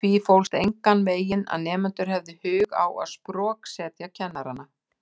Í því fólst enganveginn að nemendur hefðu hug á að sproksetja kennarana.